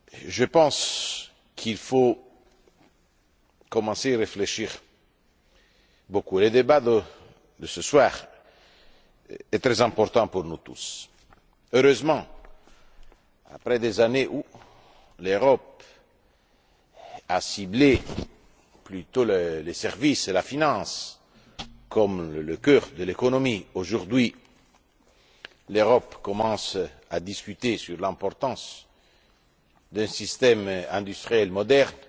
je pense qu'il faut commencer à réfléchir beaucoup. Le débat de ce soir est très important pour nous tous. Heureusement, après des années où l'Europe a plutôt ciblé les services et la finance comme le cœur de l'économie aujourd'hui, l'Europe commence à discuter de l'importance d'un système industriel moderne,